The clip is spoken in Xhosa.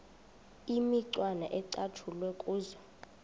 imicwana ecatshulwe kuzo